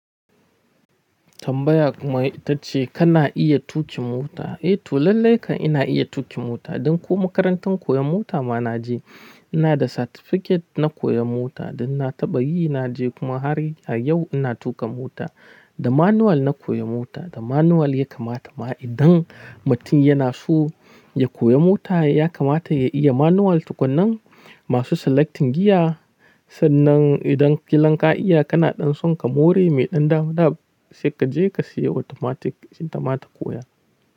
Tambaya kuma ita ce kana iya tuƙi mota? Eh to lallai ka ina iya tuƙin mota. Don ko makarantar koyon mota ma na je. Ina da certificate na koyon mota. Dan na taɓa yi, na je kuma har a yau ina tuƙa mota. Da manual na koyi mota. Da manual ya kamata ma idan mutum yana so ya koyi mota ya kamata ya iya manual. Tukunnan masu selecting giya sannan idan kilan ka iya kana ɗan son ka more mai ɗan dama dama sai ka je ka siya automatic ita ma ta koya.